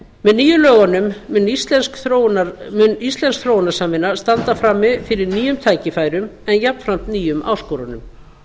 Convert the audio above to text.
með nýju lögunum mun íslensk þróunarsamvinna standa frammi fyrir nýjum tækifærum en jafnframt nýjum áskorunum